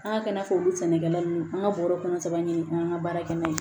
An ka kɛ n'a fɔ olu sɛnɛkɛla nunnu an ka bɔrɔ kɔnɔ sabanin k'an ka baara kɛ n'a ye